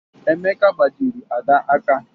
Emeka gbajiri Ada aka.